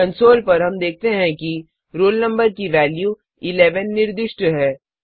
console पर हम देखते हैं कि रोल नंबर की वैल्यू 11 निर्दिष्ट है